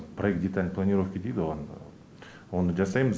проект деталь планировки дейді ғо оны жасаймыз